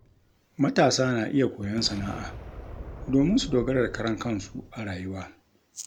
Matasa na iya koyon sana’a domin su dogara da karan kansu a rayuwa.